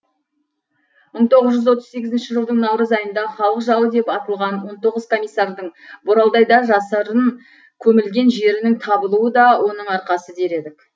мың тоғыз жүз отыз сегізінші жылдың наурыз айында халық жауы деп атылған он тоғыз комиссардың боралдайда жасырын көмілген жерінің табылуы да оның арқасы дер едік